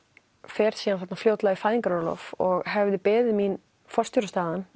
fer síðan þarna fljótlega í fæðingarorlof og hefði beðið mín